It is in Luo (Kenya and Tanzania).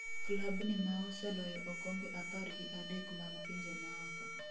klabni maoseloyo okombe apar gi adek mag pinje maoko